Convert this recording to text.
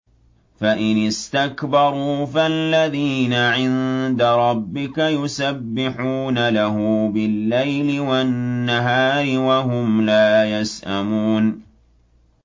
فَإِنِ اسْتَكْبَرُوا فَالَّذِينَ عِندَ رَبِّكَ يُسَبِّحُونَ لَهُ بِاللَّيْلِ وَالنَّهَارِ وَهُمْ لَا يَسْأَمُونَ ۩